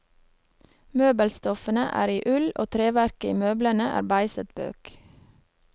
Møbelstoffene er i ull og treverket i møblene er beiset bøk.